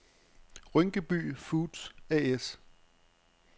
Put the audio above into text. Rynkeby Foods A/S